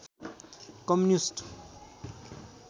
communist